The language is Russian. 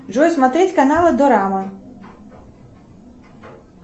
джой смотреть каналы дорама